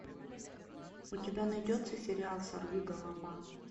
у тебя найдется сериал сорвиголова